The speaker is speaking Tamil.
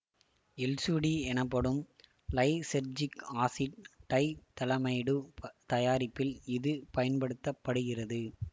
எல்எசுடி எனப்படும் லைசெர்ஜிக் ஆசிட் டைதலமைடு தயாரிப்பில் இது பயன்படுத்த படுகிறது